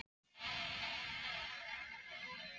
Breki: Hvað, hvað kom fyrir bangsann þinn?